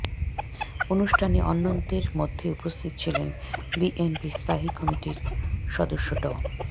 অনুষ্ঠানে অন্যদের মধ্যে উপস্থিত ছিলেন বিএনপির স্থায়ী কমিটির সদস্য ড